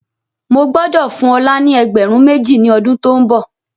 Mo gbọ́dọ̀ fún ọ̀la ni ẹgbẹ̀rún méjì ni ọdún to ń bọ̀.